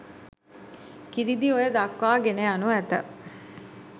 කිරිඳිඔය දක්වා ගෙන යනු ඇත.